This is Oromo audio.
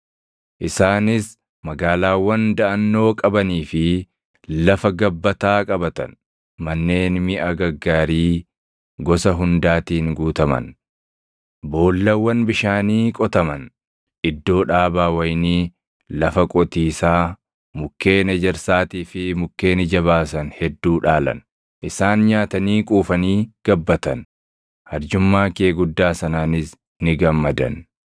Isaanis magaalaawwan daʼannoo qabanii fi lafa gabbataa qabatan; manneen miʼa gaggaarii gosa hundaatiin guutaman, boollawwan bishaanii qotaman, iddoo dhaabaa wayinii, lafa qotiisaa mukkeen ejersaatii fi mukkeen ija baasan hedduu dhaalan. Isaan nyaatanii quufanii gabbatan; arjummaa kee guddaa sanaanis ni gammadan.